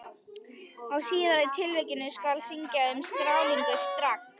Í síðari tilvikinu skal synja um skráningu strax.